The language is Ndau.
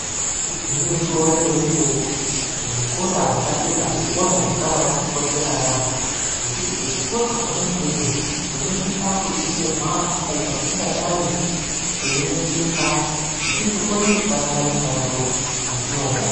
Igwinyiso remene mene, zvikora zvepadera zvikora zvakabaatikoshera yaampho ngekuti kuzvikora kwona ikweyo ikweyo tinosisa kudetserwa apo patingadai teisineseka tisi kukone kushanda mishando yatinoda.